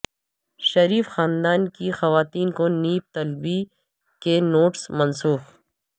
شریف خاندان کی خواتین کو نیب طلبی کے نوٹس منسوخ